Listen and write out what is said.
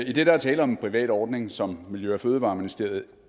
idet der er tale om en privat ordning som miljø og fødevareministeriet